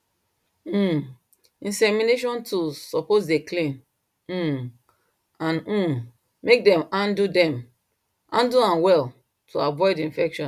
um insemination tools suppose dey clean um and um make dem handle dem handle am well to avoid infection